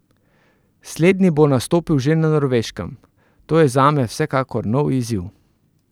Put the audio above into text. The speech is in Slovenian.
Slednji bo nastopil že na Norveškem: 'To je zame vsekakor nov izziv.